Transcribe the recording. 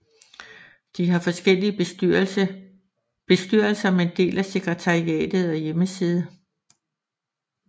De har forskellige bestyrelser men deler sekretariat og hjemmeside